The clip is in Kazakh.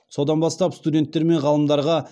содан бастап студенттер мен ғалымдарға